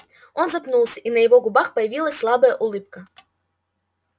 он запнулся и на его губах появилась слабая улыбка